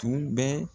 Tun bɛ